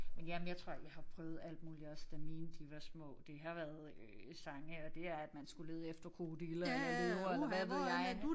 Men jamen jeg tror jeg har prøvet alt muligt også da mine de var små. Det har været øh sange og det er at man skulle lede efter krokodiller eller løver eller hvad ved jeg